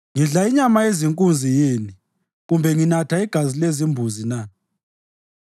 Ngidla inyama yezinkunzi yini kumbe nginatha igazi lembuzi na?